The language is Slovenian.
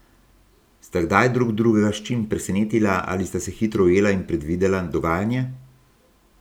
Sta kdaj drug drugega s čim presenetila ali sta se hitro ujela in predvidela dogajanje?